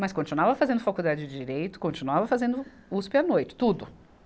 Mas continuava fazendo faculdade de Direito, continuava fazendo Uspe à noite, tudo.